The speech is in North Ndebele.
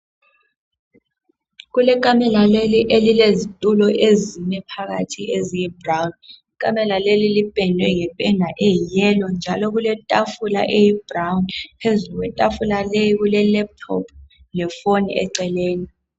Kulekamela leli elilizetulo ezime phakathi eziyibrown. Ikamela leli lipendwe ngependa eyiyelo njalo kuletafula eyibrown, phezulu kwetafula kulelaptop lefoni eceleni.